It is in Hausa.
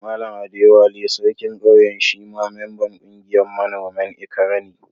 Mallam Adewale, sarkin Ƙauyen shi ma memban ƙungiyan manomin Ikare ne.